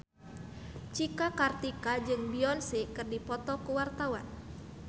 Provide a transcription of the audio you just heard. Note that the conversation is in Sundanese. Cika Kartika jeung Beyonce keur dipoto ku wartawan